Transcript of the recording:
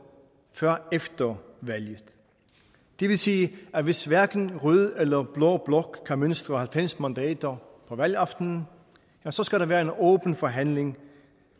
før efter valget det vil sige at hvis hverken rød eller blå blok kan mønstre halvfems mandater på valgaftenen så skal der være en åben forhandling